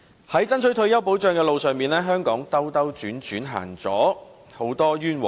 在爭取退休保障的路上，香港兜兜轉轉，走了很多冤枉路。